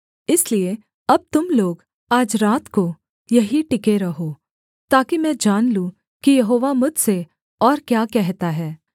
इसलिए अब तुम लोग आज रात को यहीं टिक रहो ताकि मैं जान लूँ कि यहोवा मुझसे और क्या कहता है